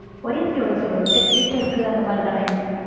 wire க்கு எவ்வலவு sir வரும் per meter க்கு அந்தமாதிரிதானே